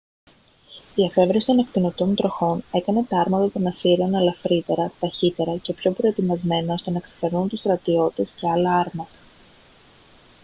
η εφεύρεση των ακτινωτών τροχών έκανε τα άρματα των ασσυρίων ελαφρύτερα ταχύτερα και πιο προετοιμασμένα ώστε να ξεπερνούν τους στρατιώτες και άλλα άρματα